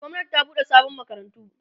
gwamnati ta buɗe sabon makarantu